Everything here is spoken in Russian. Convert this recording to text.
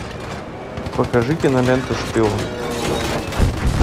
покажи киноленту шпион